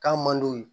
K'a man d'u ye